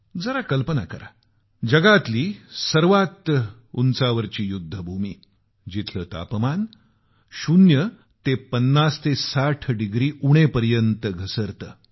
आपण कल्पना करा जगातली सर्वात उंचावरली युद्धभूमी जिथलं तापमान शून्य ते 50 ते 60 डिग्री उणे पर्यंत घसरतं